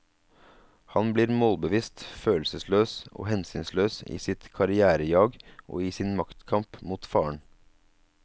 Han blir målbevisst, følelsesløs og hensynsløs i sitt karrièrejag og i sin maktkamp mot faren.